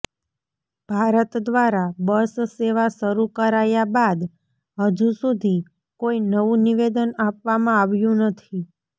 ભારત દ્વારા બસ સેવા શરૂ કરાયા બાદ હજુ સુધી કોઈ નવું નિવેદન આપવામાં આવ્યું નથી